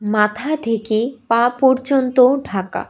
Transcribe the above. মাথা থেকে পা পর্যন্ত ঢাকা।